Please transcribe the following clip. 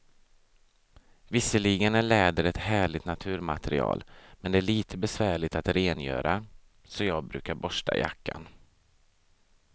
Visserligen är läder ett härligt naturmaterial, men det är lite besvärligt att rengöra, så jag brukar borsta jackan.